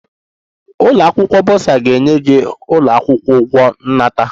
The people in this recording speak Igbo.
The ụlọ akwụkwọ burser ga-enye gị ụlọ akwụkwọ ụgwọ nnata